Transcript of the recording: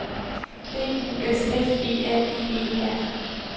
B U S F E R I E R